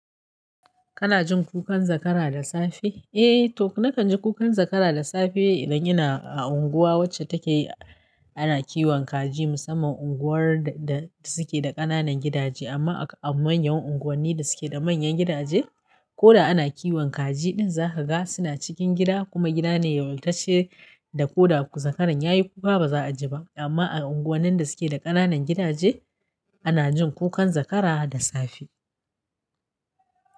Kana jin kukan zakara da safe? Eh, toh nakan ji kukan zakara da safe idan ina a unguwa wacce take ana kiwon kaji. Musamman unguwar da suke da ƙananan gidaje amma a manyan unguwanni da suke da manyan gidaje ko da ana kiwon kaji ɗin za ka ga suna cikin gida kuma gida ne ya wantace da ko da zakaran yayi kuka ba za a ji ba. Amma a unguwannan da suke da ƙananan gidaje ana jin kukan zakara da safe.